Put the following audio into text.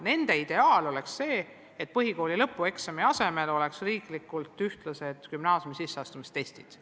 Nende ideaal on see, et põhikooli lõpueksami asemel oleks kogu riigis samad gümnaasiumi sisseastumistestid.